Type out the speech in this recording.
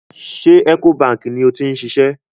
Ṣé Ecobank ni ó ti ń ṣiṣẹ́?